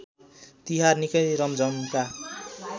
तिहार निकै रमझमका